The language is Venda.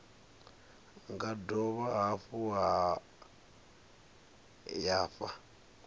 nga dovha hafhu ya fha